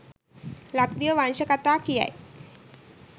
ලක්දිව වංශ කතා කියයි.